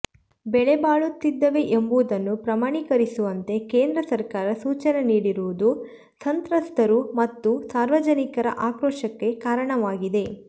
ಬೆಲೆ ಬಾಳುತ್ತಿದ್ದವೇ ಎಂಬುದನ್ನು ಪ್ರಮಾಣೀಕರಿಸುವಂತೆ ಕೇಂದ್ರ ಸರ್ಕಾರ ಸೂಚನೆ ನೀಡಿರುವುದು ಸಂತ್ರಸ್ತರು ಮತ್ತು ಸಾರ್ವಜನಿಕರ ಆಕ್ರೋಶಕ್ಕೆ ಕಾರಣವಾಗಿದೆ